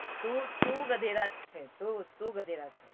તું તું ગધેડા છે